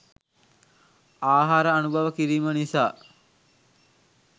ආහාර අනුභව කිරීම නිසා